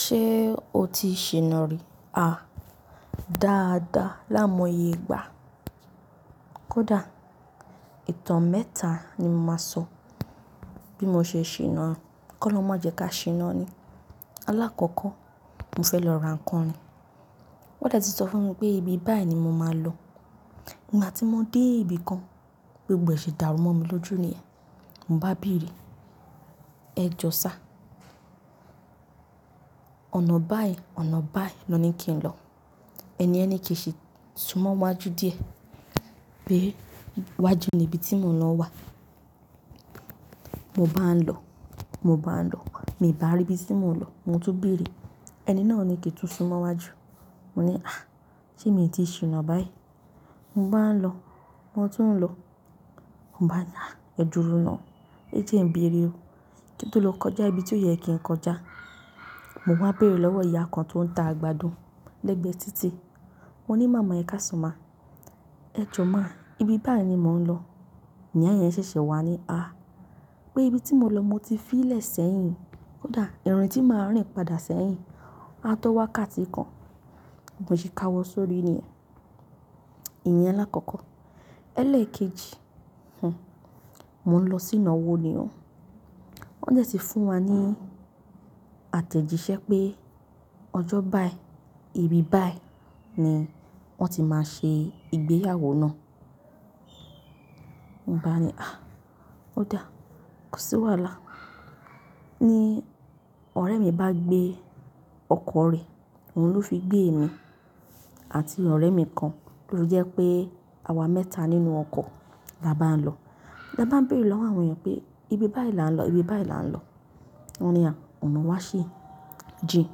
Ṣé o ti ṣìná rí? Ah, dáadáa. Láàmoye ìgbà. Kódà ìtàn mẹ́ta ni mo máa sọ bí mo ṣe ṣìná. Kọ́ lọmọ jẹ ká ṣìná ni. Alákọ̀kọ́ mo fẹ́ lọ ra ǹkan ni. Wọ́n dẹ̀ ti sọ fún mi pé ibi báyìí ni mo máa lọ. Nígbà tí mo dé ibi kan, gbogbo ẹ̀ṣẹ̀ dàrú mọ́ mi lójú ni yẹn. Mo bá bèrè, "Ẹ jọ sá. Ọ̀nà báyìí, ọ̀nà báyìí lọ ní kí n lọ. Ẹni yẹni kìí ṣi sún mọ́ iwájú díẹ̀ pé iwájú ni ibi tí mò ń lọ wà." Mo bá ń lọ, mo bá ń lọ, mi n bá rí ibi tí mò ń lọ. Mo tún bèrè, ẹni náà ni kí n tún sún mọ́ iwájú. Mo ní, "Àh! Ṣé mi ti ṣìná báyìí?" Mo bá ń lọ, mo tún ń lọ. Mo bá ni àh, ẹ duro ná. Ń ti e bèrè o. Kí n tó lọ kọjá ibi tí ó yẹ kí n kọjá? Mo wá bèrè lọ́wọ́ ìyá kan tó ń ta àgbàdo lẹ́gbẹ̀ẹ́ títì. Mo ní, "Màmá ẹ ká san má. Ẹ jo má. Ibi báyìí ni mò ń lọ." Nì ya yen ṣẹ̀ṣẹ̀ wà á ni, "Ah, pé ibi tí mò ń lọ mo ti fi í lẹ̀ sẹ́yìn. Kódà ìrìn tí màá rìn padà sẹ́yìn, a tó wá ká ti kan." Mo ṣì ka wọ sórí ni yẹn. Ìyẹn alákọ̀kọ́. Ẹ̀lẹ́ẹ̀kejì Mò ń lọ sí ìnáwó ni ọ́. Wọ́n dẹ̀ ti fún wa ní àtẹ̀jíṣẹ́ pé ọjọ́ báyìí, ibi báyìí ni wọ́n ti máa ṣe ìgbéyàwó náà. Mo bá ní, "Àh! Ó dáa. Kò sí wàhálà." Ni ọ̀rẹ́ mi bá gbé ọkọ̀ rẹ̀, òun ló fi gbé èmi àti ọ̀rẹ́ mi kan, ló jẹ́ pé àwa mẹ́ta nínú ọkọ̀, labá ń lọ. Labá ń bèrè lọ́wọ́ àwọn èèyàn pé, "Ibi báyìí là ń lọ, ibi báyìí là ń lọ." Wọ́n ni, "Àh ọ̀nà wa ṣi jin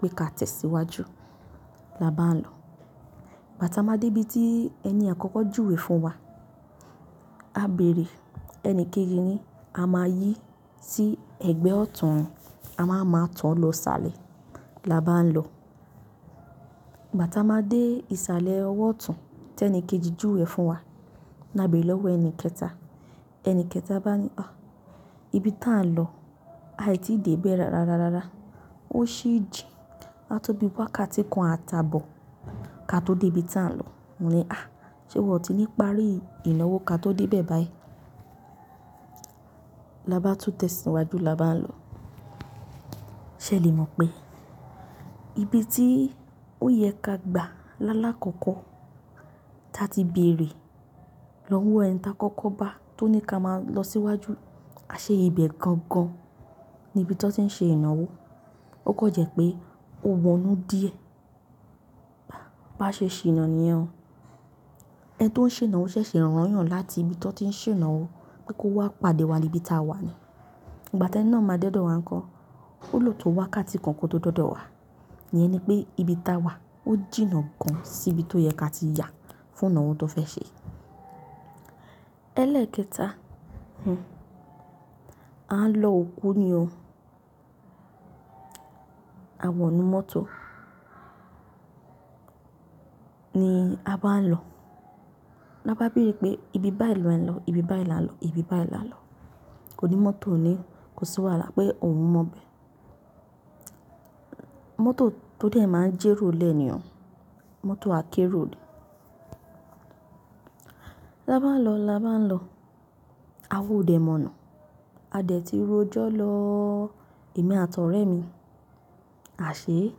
pé ká tẹ̀ síwájú." Labá ń lọ. Gbá ta máa dé ibi tí ẹni àkọ́kọ́ júwe fún wa, a bèrè ẹni kéjì ni a máa yí sí ẹ̀gbẹ́ ọ̀tún, a máa máa tọ lọ sàlẹ̀, labá ń lọ. Bá ta máa dé ìsàlẹ̀ ọwọ́ ọ̀tún tí ẹni kejì júwe fún wa, là bèrè lọ́wọ́ ẹni kẹta. Ẹni kẹta bá ní, "ah, ibi tí à ń lọ, a ì tí dé bẹ̀ rárárárárá. Ó ṣi jin. A tó bí wá ká ti kan a ta bọ̀ ká tó dé ibi tà ń lọ." Mo ní, "Àh! Ṣé wọn ti ní ìparí ìnáwó ká tó dé bẹ̀ báyìí?" Labá tún tẹ̀ sí iwájú, labá ń lọ. Ṣé ẹ lè mọ̀ pé ibi tí ó yẹ ká gbà lálákọ̀kọ́ ta ti bèrè lọ́wọ́ ẹni tá kọ́kọ́ bá tó ní ká máa lọ síwájú, a ṣe ìbẹ̀ gangan ní ibi tí wọ́n ti ń ṣe ìnáwó. Ó kọ jẹ́ pé ó wọnú díẹ̀. Bá ṣe ṣìná ni yẹ́n o. Ẹn tó ń ṣe ìnáwó ṣẹ̀ṣẹ̀ rán yàn láti ibi tí wọ́n ti ń ṣe ìnáwó pé kó wá pàdé wa ní ibi tí a wà ni. Ìgbà tí ẹni náà máa dẹ́dọ̀ wá ńkọ́, ó lò tó wá ká ti kànkọ́ tó dọ́dọ̀ wá. Nìyẹn ni pé ibi tí a wà ó jìnnà gan sí ibi tó yẹ ká ti yà fún ìnáwó tó fẹ́ ṣe. Ẹlẹ́ẹ̀kẹta, A ń lọ òkú ni ọ́. A wọ inú mọ́tò ni a bá ń lọ. Labá bèrè pé, "Ibi báyìí lọ ẹ ń lọ, ibi báyìí là ń lọ, ibi báyìí là ń lọ." ò ní mọ́tò ní, kò sí wàhálà pé òun mọ̀ bẹ́. Mọ́tò tó dẹ̀ máa ń jẹ́ ròlẹ́ ni ọ́. Mọ́tò akérò ni. Labá ń lọ, labá ń lọ. Awa ò dẹ̀ mọ̀nà. A dẹ̀ ti ro ọjọ́ lọ́ọ́, èmi àti ọ̀rẹ́ mi. A ṣè é,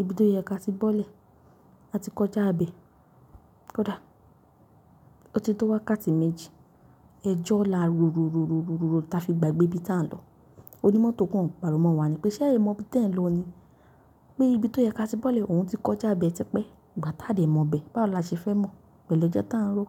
ibi tó yẹ ká ti bọ́lẹ̀, a ti kọjá bẹ̀. Kódà ó ti tó wá ká ti méjì. Ẹ jọ́ là rorororororo tá fi gba gbé ibi tí à ń lọ. Ó ní mọ́tò kan gbà rú mọ́ wa ni pé, "Ṣé ẹ mọ ibi tí ẹ ń lọ ni? Pé ibi tó yẹ ká ti bọ́lẹ̀ òun ti kọjá bẹ́ẹ̀ tí pé ìgbà tá dẹ̀ mọ̀ bẹ́. Báwo la ṣe fẹ́ mọ̀ pẹ̀lú ejọ́ tá ń ró?"